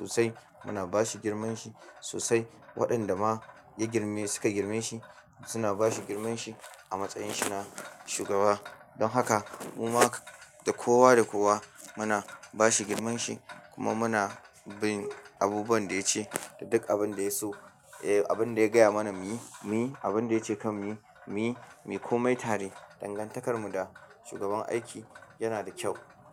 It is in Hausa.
lokaci ana ba shi girmanshi sosai. Waɗanda ma ya girme suka girme shi, suna ba shi girmanshi a matsayin shi na shugaba. Don haka, mumma da kowa da kowa muna ba shi girmanshi kuma muna bin abubuwan da ya ce da duk abin da ya so, eh abin da ya gaya mana muyi, muyi abin da ya ce kan muyi, muyi, mu komai tare. Dangantakarmu da shugaban aiki yana da kyau.